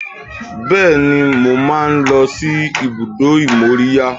Bẹ́ẹ̀ni, mo máa ń lọ sí ibùdó ìmóríyá